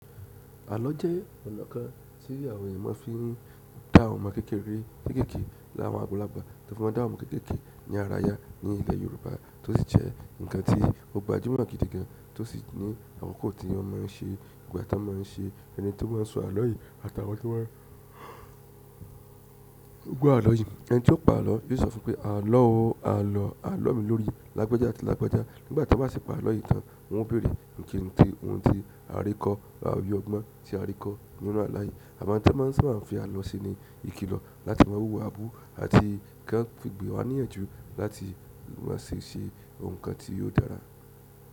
Àlọ́ jẹ́ ọ̀nà kan tí àwọn èèyàn máa fi n dá ọmọ kékeré kéékèèké láwọn àgbàlagbà tọ́n fi máa n dá àwọn ọmọ kéékèèké ní ara ya ní ilẹ̀ Yorùbá tó sì jẹ́ ǹkan tí o gbajúmọ̀ gidi gan tó sì ní àkoko tí wọ́n má a ń se e, ìgbà tọ́n má a ń se e, ẹni to maa ń sọ àlọ́ yìí àtàwọn tí wọ́n ń gbọ́ àlọ́ yìí. Ẹni tí ó pa àlọ́ yóò sọ fún un pé "àlọ́ o", "àlọ́ àlọ́ mi lórí" lágbajà àti lágbajà nígbà tí o bá sì pa àlọ́ yìí tán wọ́n ó bèrè ǹi kíǹi ti ohun tí a rí kọ́ àbí ọgbọ́n tí a rí kọ́ nínú àla yìí. Àwọn ohun tí ọ́n maá ń sábà n fi àlọ́ ṣe ni ìkìlọ̀ láti má wúwabú àti kọ́n fì gbè wá níyànjú láti má ṣe ṣe ohun kan tí yóò dára.